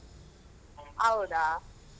ಹೌದಾ.